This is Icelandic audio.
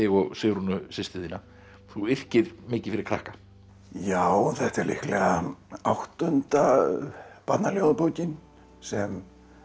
og Sigrúnu systur þína þú yrkir mikið fyrir krakka já þetta er líklega áttunda barnaljóðabókin sem